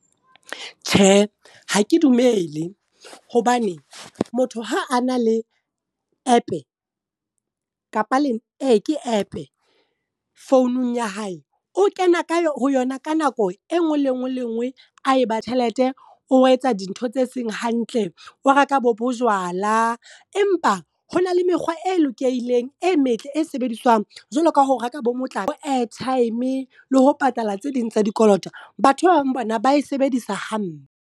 Tjhe, ha ke dumele, hobane motho ha a na le app kapa ke app founung ya hae. O kena ka ho yona ka nako e nngwe le e nngwe a eba tjhelete. O etsa dintho tse seng hantle, o reka bo bojwala empa hona le mekgwa e lokileng e metle, e sebediswang jwalo ka ho reka bo motlakase, airtime le ho patala tse ding tsa dikoloto. Batho ba bang bona ba e sebedisa hampe.